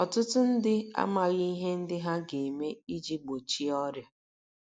Ọtụtụ ndị amaghị ihe ndị ha ga - eme iji gbochie ọrịa.